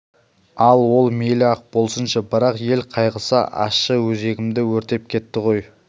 ал ол мейлі-ақ болсыншы бірақ ел қайғысы ащы өзегімді өртеп кетті ғой